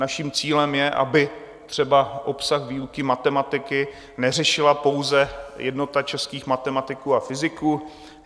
Naším cílem je, aby třeba obsah výuky matematiky neřešila pouze Jednota českých matematiků a fyziků.